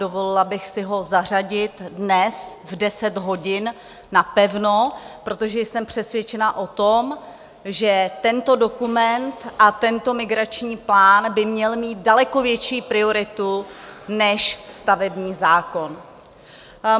Dovolila bych si ho zařadit dnes v 10 hodin napevno, protože jsem přesvědčena o tom, že tento dokument a tento migrační plán by měl mít daleko větší prioritu než stavební zákon.